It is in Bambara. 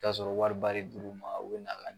Ka sɔrɔ wariba de dir'u ma u bɛ na ka